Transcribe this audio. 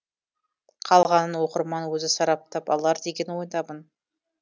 қалғанын оқырман өзі сараптап алар деген ойдамын